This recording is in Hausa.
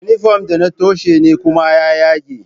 Inifom ɗi na tsohe ne kuma yagagge